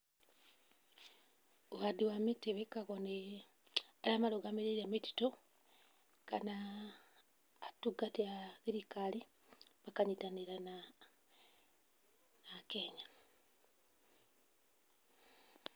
Ũhandi wa mĩtĩ wĩkagwo nĩ arĩa marũgamĩrĩire mĩtitũ kana atungati a thirikari, makanyitanĩra na Akenya.